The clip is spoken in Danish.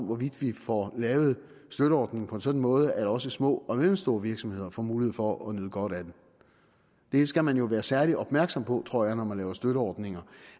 hvorvidt vi får lavet støtteordningen på en sådan måde at også små og mellemstore virksomheder får mulighed for at nyde godt af den det skal man jo være særlig opmærksom på tror jeg når man laver støtteordninger